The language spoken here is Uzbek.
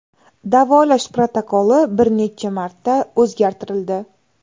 Davolash protokoli bir necha marta o‘zgartirildi.